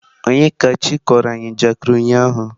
Onyekachi kọrọ anyi njakịrị ụnyahụ.